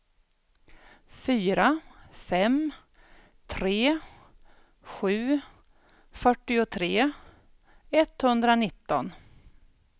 fyra fem tre sju fyrtiotre etthundranitton